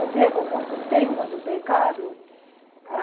Eu devo muito... Tenho muito pecado?